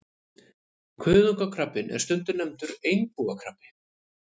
Kuðungakrabbinn er stundum nefndur einbúakrabbi.